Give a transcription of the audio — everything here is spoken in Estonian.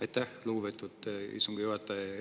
Aitäh, lugupeetud istungi juhataja!